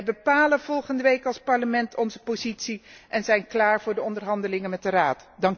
Wij bepalen volgende week als Parlement onze positie en zijn klaar voor de onderhandelingen met de Raad.